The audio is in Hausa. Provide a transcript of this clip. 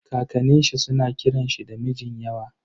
Kakanin shi suna kiran shi da Mijinyawa.